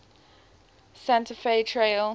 santa fe trail